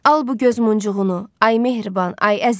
Al bu göz muncuğunu, ay mehriban, ay əziz.